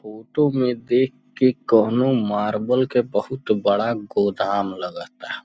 Photo में देख के कोनो मार्बल के बहुत बड़ा गोदाम लगता।